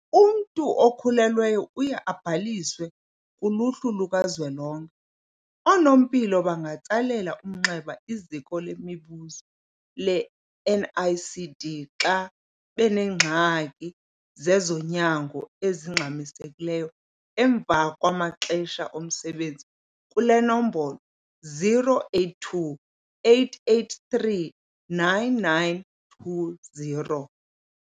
Umntu okhulelweyo uye abhaliswe kuluhlu luka zwelonke. Oonompilo bangatsalela umnxeba iZiko leMibuzo le-NICD xa benengxaki zezonyango ezingxamisekileyo emva kwamaxesha omsebenzi kule nombolo- 082 883 9920.